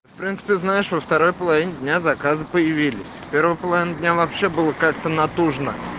в принципы знаешь во второй половине дня заказах появились в первой половине дня вообще было как-то натужно